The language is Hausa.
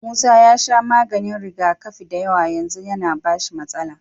Musa ya sha maganin rigakafi dayawa yanzu yAna bashi matsala